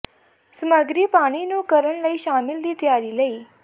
ਸਮੱਗਰੀ ਪਾਣੀ ਨੂੰ ਕਰਨ ਲਈ ਸ਼ਾਮਿਲ ਦੀ ਤਿਆਰੀ ਲਈ